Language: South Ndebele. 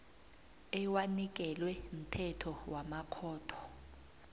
ewanikelwe mthetho wamakhotho